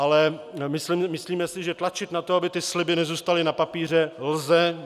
Ale myslíme si, že tlačit na to, aby ty sliby nezůstaly na papíře, lze.